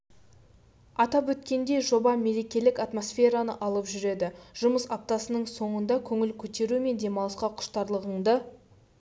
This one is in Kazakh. атап өткендей жоба мерекелік атмосфераны алып жүреді жұмыс аптасының соңында көңіл көтеру мен демалысқа құштарлығынды